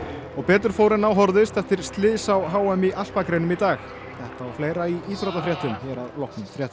og betur fór en á horfðist eftir slys á h m í alpagreinum í dag þetta og fleira í íþróttafréttum hér að loknum fréttum